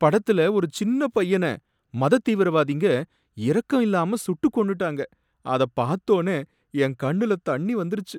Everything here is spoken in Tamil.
படத்தில ஒரு சின்னப் பையன மதத் தீவிரவாதிங்க இரக்கம் இல்லாம சுட்டுக் கொன்ணுடாங்க, அதப் பார்த்தோனே என் கண்ணுல தண்ணி வந்திருச்சு.